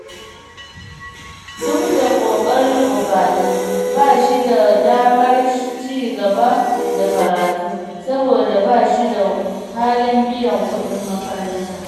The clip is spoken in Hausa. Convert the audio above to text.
Duk da ƙoƙarin Ubale, ba shi da damar ci gaba da karatu, saboda ba shi da halin biyan kudin makaranta